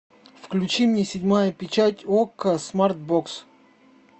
включи мне седьмая печать окко смарт бокс